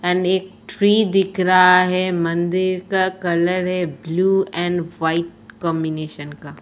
And एक tree दिख रहा है। मंदिर का कलर है ब्लू एंड व्हाइट कांबिनेशन का।